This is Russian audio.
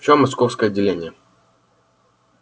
все московское отделение